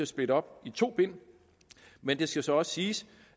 splitte op i to bind men det skal så siges